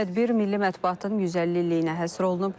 Tədbir Milli Mətbuatın 150 illiyinə həsr olunub.